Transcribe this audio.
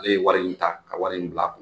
Ale ye wari in ta ka wari in bila a kun.